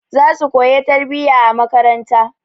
Zasu koya tarbiyya a makaranta.